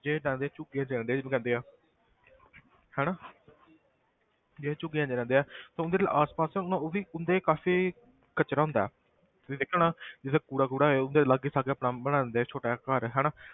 ਜਿੱਦਾਂ ਦੇ ਝੁੱਗੀਆਂ 'ਚ ਰਹਿੰਦੇ ਜਿਹਨੂੰ ਕਹਿੰਦੇ ਆ ਹਨਾ ਜਿਹੜੇ ਝੁੱਗੀਆਂ 'ਚ ਰਹਿੰਦੇ ਆ ਤਾਂ ਉਹਨਾਂ ਦੇ ਲਈ ਆਸ ਪਾਸ ਹੁਣ ਉਹ ਵੀ ਉਹਨਾਂ ਦੇ ਕਾਫ਼ੀ ਕਚਰਾ ਹੁੰਦਾ ਹੈ ਤੁਸੀਂ ਦੇਖਿਆ ਹੋਣਾ ਜਿੱਥੇ ਕੂੜਾ ਕੂੜਾ ਹੈ ਉੱਥੇ ਲਾਗੇ ਸਾਗੇ ਆਪਣਾ ਬਣਾ ਲੈਂਦੇ ਆ ਛੋਟਾ ਜਿਹਾ ਘਰ ਹਨਾ,